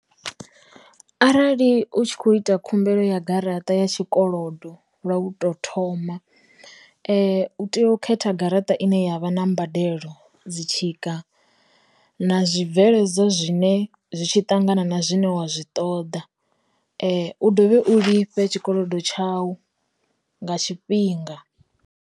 Arali u tshi kho ita khumbelo ya garaṱa ya tshikolodo lwa u to thoma, u tea u khetha garaṱa ine yavha na mbadelo dzi tshika, na zwi bveledzwa zwine zwi tshi ṱangana na zwine wa zwi ṱoḓa, u dovhe u lifhe tshikolodo tshau nga tshifhinga.